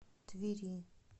твери